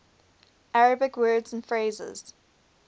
arabic words and phrases